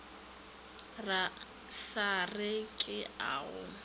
sa re ke a go